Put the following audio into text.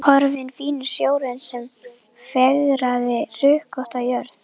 Horfinn fíni snjórinn sem fegraði hrukkótta jörð.